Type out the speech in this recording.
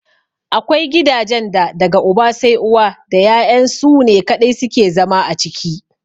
Akwai gidajen da daga uba sai uwa da ya'yan su ne kaɗai suke zama a ciki.